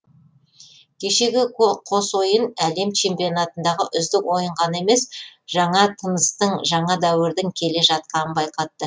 кешегі қос ойын әлем чемпионатындағы үздік ойын ғана емес жаңа тыныстың жаңа дәуірдің келе жатқанын байқатты